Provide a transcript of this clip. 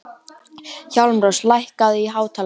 Hjálmrós, lækkaðu í hátalaranum.